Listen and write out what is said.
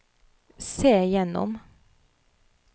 se gjennom